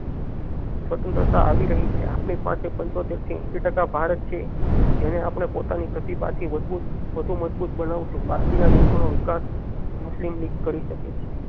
સ્વતંત્રતા આવી રહી છે આપણી પાસે પંચોતેર થી એંસી ટાકા ભારત છે જેને આપણે પોતાની પ્રતિભા થી મજબૂત વધુ મજબૂત બનાવશુ બાકી ના દેશો નો વિકાસ મુસ્લિમ લીગ કરી શકે છે